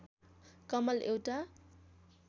कमल एउटा